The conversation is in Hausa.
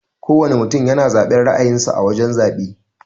Kowana mutum yana zaben ra'ayin sa a wajan zabe.